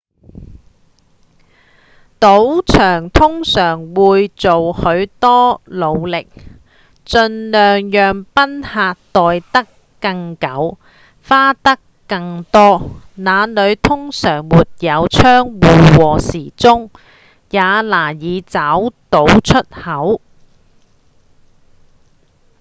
賭場通常會做許多努力盡量讓賓客待得更久、花得更多那裡通常沒有窗戶和時鐘也難以找到出口